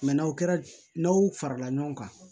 n'aw kɛra n'aw farala ɲɔgɔn kan